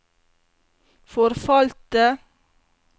forfalte